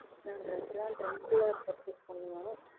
நாங்க dress எல்லாம் ட்ரெண்டியா purchase பண்ணுவோம்.